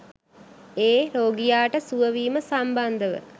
ඒ රෝගියාට සුව වීම සම්බන්ධව.